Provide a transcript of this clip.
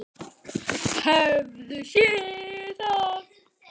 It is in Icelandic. Hefurðu séð það?